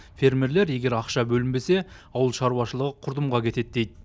фермерлер егер ақша бөлінбесе ауыл шаруашылығы құрдымға кетеді дейді